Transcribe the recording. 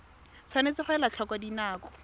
tshwanetse ga elwa tlhoko dinako